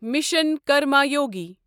mission Karmayogi